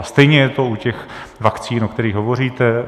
A stejně je to u těch vakcín, o kterých hovoříte.